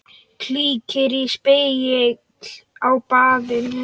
Kíkir í spegil á baðinu.